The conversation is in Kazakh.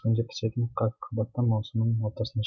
күнде пісетін қырыққабатты маусымның ортасында